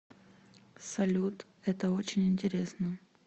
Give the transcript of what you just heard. салют это очень интересно